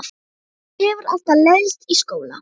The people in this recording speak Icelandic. Mér hefur alltaf leiðst í skóla.